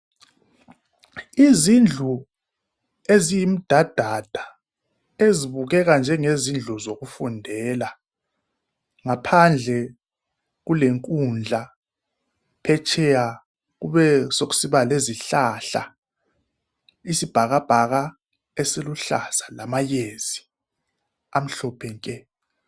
Izindlu eziyimdadada ezibukeka njengezindlu zokufundela ngaphandle kulenkundla , phetsheya kube sokusiba lezihlahla , isibhakabhaka esiluhlaza lamayezi amhlophe nke